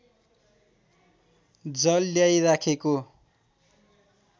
जल ल्याई राखेको